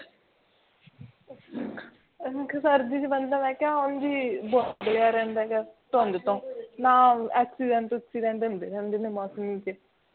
ਮੈਂ ਕਿਹਾ ਹਾਂ ਜੀ ਬਹੁਤ ਬਣਿਆ ਰਹਿੰਦਾ ਹੈ ਧੁੰਦ ਤੋਂ ਤਾਂ accident accident ਹੁੰਦੇ ਰਹਿੰਦੇ ਆ ਬਾਕੀ ਠੀਕਹੈ ਬਾਕੀ ਠੀਕਹੈ